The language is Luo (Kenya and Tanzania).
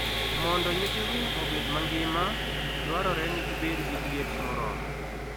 Mondo nyithi winy obed mangima, dwarore ni gibed gi liet moromo.